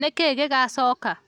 Nĩ kĩĩ gĩgacooka?